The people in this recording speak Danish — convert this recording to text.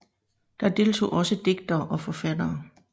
Der deltog også digtere og forfattere